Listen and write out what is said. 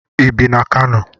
Ebi m na Kano.